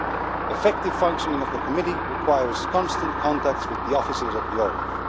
The effective functioning of the Committee requires constant contacts with the offices of OLAF.